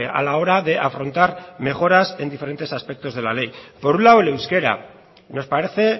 a la hora de afrontar mejorar en diferentes aspectos de la ley por un lado el euskera nos parece